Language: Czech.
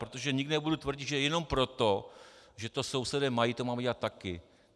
Protože nikdy nebudu tvrdit, že jenom proto, že to sousedé mají, to máme dělat taky.